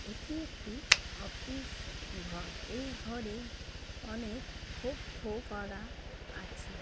এটি একটি অফিস ঘর। এই ঘরে অনেক খোপ খোপ করা আছে।